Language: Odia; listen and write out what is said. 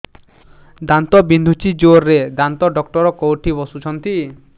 ଦାନ୍ତ ବିନ୍ଧୁଛି ଜୋରରେ ଦାନ୍ତ ଡକ୍ଟର କୋଉଠି ବସୁଛନ୍ତି